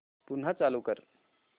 पुन्हा चालू कर